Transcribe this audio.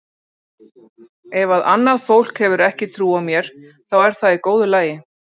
Ef að annað fólk hefur ekki trú á mér þá er það í góðu lagi.